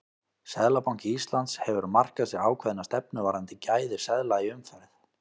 Seðlabanki Íslands hefur markað sér ákveðna stefnu varðandi gæði seðla í umferð.